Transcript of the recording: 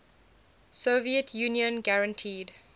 soviet union guaranteed